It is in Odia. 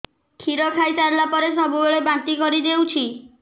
କ୍ଷୀର ଖାଇସାରିଲା ପରେ ସବୁବେଳେ ବାନ୍ତି କରିଦେଉଛି